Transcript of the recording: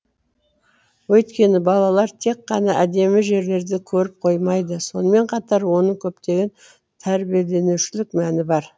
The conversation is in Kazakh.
өйткені балалар тек қана әдемі жерлерді көріп қоймайды сонымен қатар оның көптеген тәрбиеленушілік мәні бар